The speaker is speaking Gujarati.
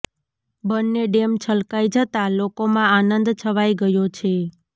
બંને ડેમ છલકાઈ જતાં લોકોમાં આનંદ છવાઈ ગયો છે